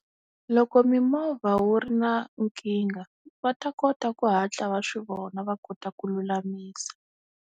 Loko mimovha wu ri na nkingha va ta kota ku hatla va swi vona va kota ku lulamisa.